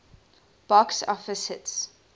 box office hits